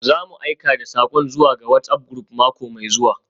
Za mu aika da sakon zuwa ga WhatsApp group mako mai zuwa.